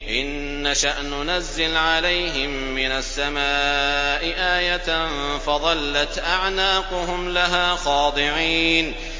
إِن نَّشَأْ نُنَزِّلْ عَلَيْهِم مِّنَ السَّمَاءِ آيَةً فَظَلَّتْ أَعْنَاقُهُمْ لَهَا خَاضِعِينَ